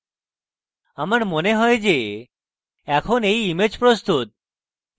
আমার মনে হয় এখন এই image প্রস্তুত